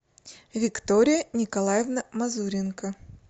виктория николаевна мазуренко